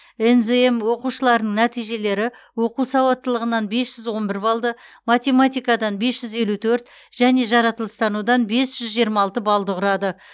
нзм оқушыларының нәтижелері оқу сауаттылығынан бес жүз он бір балды математикадан бес жүз елу төрт және жаратылыстанудан бес жүз жиырма алты балды құрады